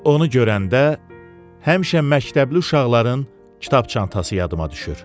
Onu görəndə həmişə məktəbli uşaqların kitabça çantası yadıma düşür.